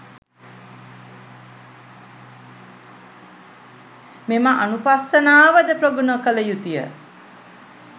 මෙම අනුපස්සනාව ද ප්‍රගුණ කළ යුතු ය.